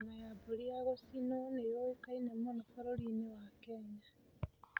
Nyama ya mbũri ya gũcinwo nĩ yũĩkaine mũno bũrũri-inĩ wa Kenya.